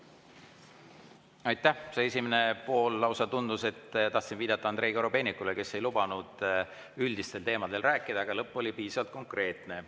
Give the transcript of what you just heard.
esimene pool tundus lausa selline, et tahtsin viidata Andrei Korobeinikule, kes ei lubanud üldistel teemadel rääkida, aga lõpp oli piisavalt konkreetne.